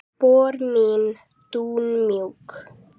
Spor mín dúnmjúk.